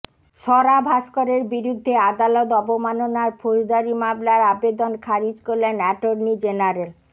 স্বরা ভাস্করের বিরুদ্ধে আদালত অবমাননার ফৌজদারী মামলার আবেদন খারিজ করলেন অ্যাটর্নি জেনারেল